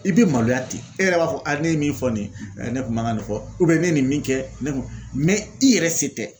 I bɛ maloya ten e yɛrɛ b'a fɔ ne ye min fɔ nin ye ne kun man kan nin fɔ ne ye nin min kɛ ne kun mɛ i yɛrɛ se tɛ